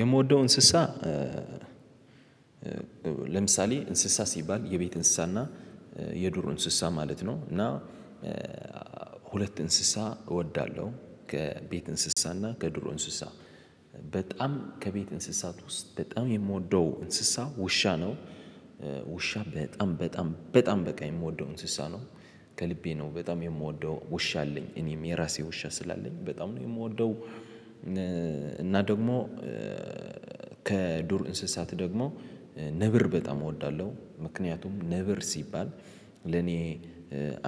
የምወደው እንስሳ ለምሳሌ እንስሳ ሲባል የቤት እንስሳና የዱር እንስሳ ማለት ነው። እና ሁለት እንስሳ እወዳለሁ ከቤት እንስሳና ከዱር እንስሳ በጣም ከቤት እንስሳት ውስጥ በጣም የምወደው እንስሳ ውሻ ነው። ውሻ በጣም በጣም በጣም በቃ የምወደው እንስሳ ነው። ከልቤ ነው በጣም የምወደው ውሻ አለኝ እኔም የራሴ ውሻ ስላለኝ በጣም ነው የምወደው። እና ደሞ። ከዱር እንስሳት ደግሞ ነብር በጣም እወዳለሁ ምክንያቱም ነብር ሲባል ለኔ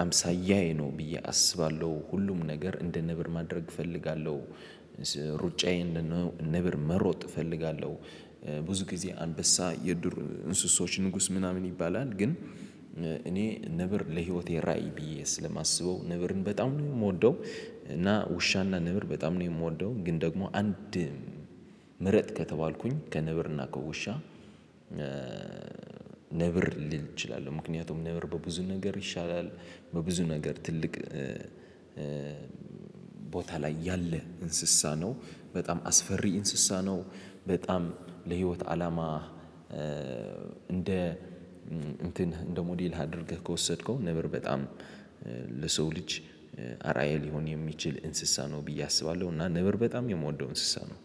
አምሳያዬ ነው ብዬ አስባለሁ። ሁሉም ነገር እንደ ነብር ማድረግ እፈልጋለሁ። ሩጫዬን እንደ ነበር መሮጥ እፈልጋለሁ። ብዙ ጊዜ አንበሳ የዱር እንስሶች ንጉስ ምናምን ይባላል። ግን እኔ ነብር ለህይወቴ ራዕይ ብዬ ስለማስበው ነብርን በጣም ነው የምወደው። እና ውሻና ነብር በጣም ነው የምወደው። ግን ደግሞ አንድ ምረጥ ከተባልኩኝ ከነብርና ከውሻ ነብር ልል እችላለሁ። ምክንያቱም ነብር በብዙ ነገር ይሻላል። በብዙ ነገር ትልቅ ቦታ ላይ ያለ እንስሳ ነው። በጣም አስፈሪ እንስሳ ነው። በጣም ለህይወት አላማ። እንደ እንትን እንደ ሞዴል አድርገህ ከወሰድከው ነበር በጣም ለሰው ልጅ አራዬ ሊሆን የሚችል እንስሳ ነው ብዬ አስባለሁ። እና ነበር በጣም የምወደው እንስሳ ነው።